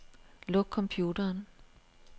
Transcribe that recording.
Luk computeren.